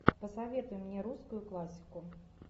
посоветуй мне русскую классику